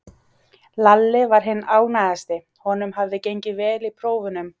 Lalli var hinn ánægðasti, honum hafði gengið vel í prófunum.